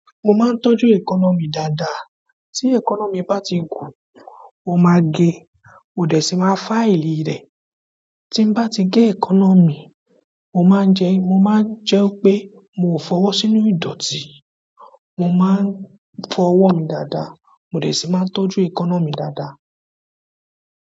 Mo máa ń tọ́jú èékánná dáadáa. Tí èékánná bá ti gùn, mo máa ge mo dẹ̀ sì máa fáìlì rẹ̀. Tí n bá ti gé èékánná mi, mo máa ń jẹ, mo máa ń jẹ wípé mo fọwọ́ sínú ìdọ̀tí. Mo máa ń fọwọ́ mi dáadáa, mo dẹ̀ sì máa ń tọ́jú èékánná mi dáadáa.